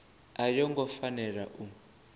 a yo ngo fanela u